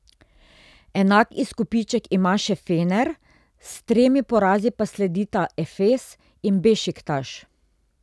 Enak izkupiček ima še Fener, s tremi porazi pa sledita Efes in Bešiktaš.